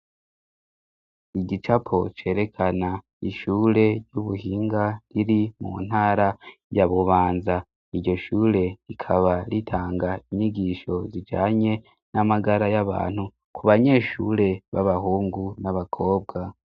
Igicapo cerekana ishure ry'ubuhinga riri mu ntara ya Bubanza. Iryo shure rikaba ritanga inyigisho zijanye n'amagara y'abantu ku banyeshure b'abahungu n'abakobwa.